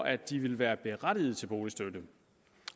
at de ville være berettiget til boligstøtte